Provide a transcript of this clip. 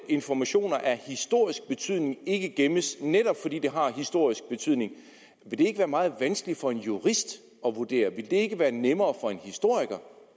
informationer af historisk betydning ikke gemmes netop fordi de har historisk betydning vil det ikke være meget vanskeligt for en jurist at vurdere vil det ikke være nemmere for en historiker